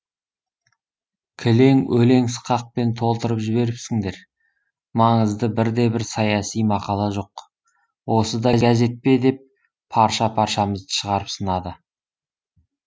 кілең өлең сықақпен толтырып жіберіпсіңдер маңызды бір де бір саяси мақала жоқ осы да газет пе деп парша паршамызды шығарып сынады